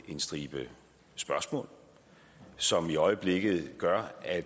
en stribe spørgsmål som i øjeblikket gør at